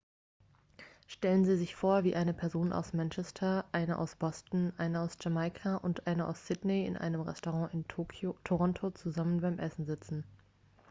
stellen sie sich vor wie eine person aus manchester eine aus boston eine aus jamaika und eine aus sydney in einem restaurant in toronto zusammen beim essen sitzen